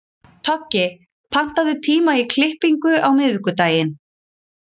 Toggi, pantaðu tíma í klippingu á miðvikudaginn.